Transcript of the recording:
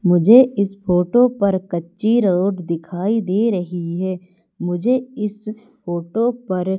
मुझे इस फोटो पर कच्ची रोड दिखाई दे रही है मुझे इस फोटो पर--